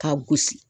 K'a gosi